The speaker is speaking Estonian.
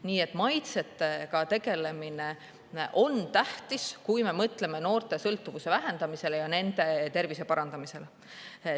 Nii et maitsetega tegelemine on tähtis, kui me mõtleme noorte sõltuvuse vähendamisele ja nende tervise parandamisele.